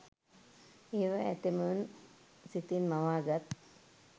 ඒවා ඇතැමුන් සිතින් මවාගත්